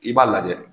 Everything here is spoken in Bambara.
I b'a lajɛ